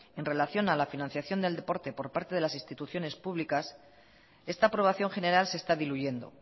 en relación a la financiación del deporte por parte de las instituciones públicas esta aprobación general se está diluyendo